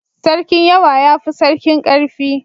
Sarkin yawa ya fi sarkin ƙarfi